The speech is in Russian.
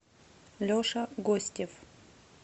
леша гостев